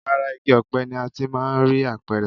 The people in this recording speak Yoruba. Ara igi ọ̀pẹ ni a ti máà ń rí apẹ̀rẹ̀.